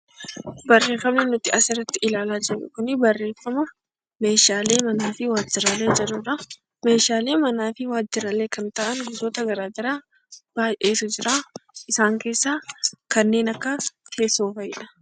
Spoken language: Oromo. Barreeffamni nuti as irratti ilaalaa jirru kuni barreeffama "Meeshaalee manaa fi waajjiraalee" jedhu dha. Meeshaalee manaa fi waajjiraalee kan ta'an gosoota gara garaa baay'eetu jira. Isaan keessaa kanneen akka teessoo fa'i dha.